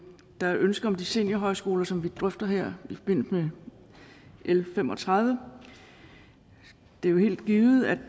der er ønsker om de seniorhøjskoler som vi drøfter her i forbindelse med l fem og tredive det er jo helt givet at